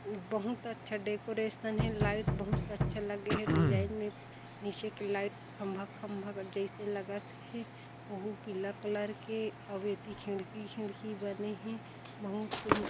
बहुत अच्छा डेकोरेशन हे लाइट बहुत अच्छे लगे हे डिजाइन में म्यूजिक लाइट खम्भा-खम्भा जइसे लगत हे ओहु पीला कलर के अउ एति खिड़की-खिड़की बने हे बहुत--